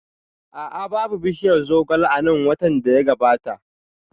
A'a, babu bishiyar zogale a nan watan da ya gabata